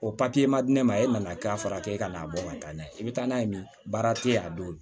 O ma di ne ma e man ka k'a fara kɛ n'a bɔ ka taa n'a ye i bɛ taa n'a ye min baara tɛ yen a don